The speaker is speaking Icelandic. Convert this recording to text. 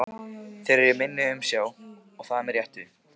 Þeir eru í minni umsjá og það með réttu.